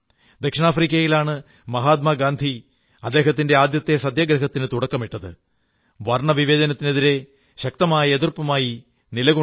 ദക്ഷിണാഫ്രിക്കയിലാണ് മഹാത്മാഗാന്ധി അദ്ദേഹത്തിന്റെ ആദ്യത്തെ സത്യാഗ്രഹത്തിനു തുടക്കമിട്ടത് വർണ്ണവിവേചനത്തിനെതിരെ ശക്തമായ എതിർപ്പുമായി നിലകൊണ്ടത്